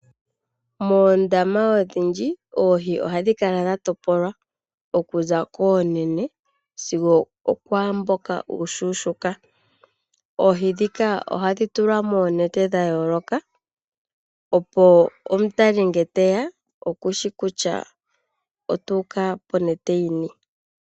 Moondama odhindji oohi ohadhi kala dha topolwa okuza koonene sigo okwaa mboka uushuushuka. Oohi ndhika ohadhi tulwa moonete dha yooloka, opo omutali ngele te ya oku shi kutya ota uka ponete yi ni.